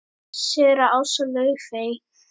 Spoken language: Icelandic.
Séra Ása Laufey.